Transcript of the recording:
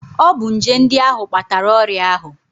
Ọ bụ nje ndị ahụ kpatara ọrịa ahụ